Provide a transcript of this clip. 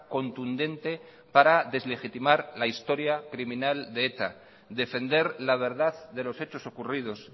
contundente para deslegitimar la historia criminal de eta defender la verdad de los hechos ocurridos